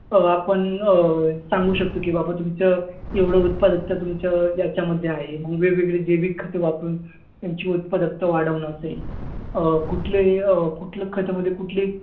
अं आपण अं सांगू शकतो की बाबा, तुमचं एवढं उत्पादकता तुमच्या याच्यामध्ये आहे. जैविक खतं वापरून तुमची उत्पादकता वाढवणं असेल, अं कुठली अं कुठली खतामध्ये कुठली